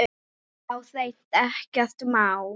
Já, hreint ekkert má.